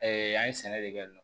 an ye sɛnɛ de kɛ yen nɔ